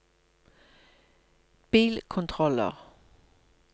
bilkontroller